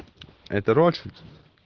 это рольшид